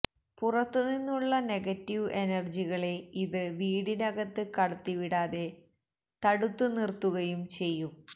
പുറത്തു നിന്നുമുള്ള നെഗറ്റീവ് എനർജ്ജികളെ ഇത് വീടിനകത്ത് കടത്തിവിടാതെ തടുത്ത് നിർത്തുകയും ചെയ്യും